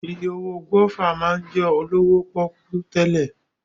Iye owó gúáfà máa ń jẹ́ olówó pọ́kú tẹ́lẹ̀